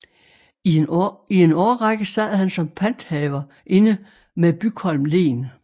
I en I årrække sad han som panthaver inde med Bygholm Len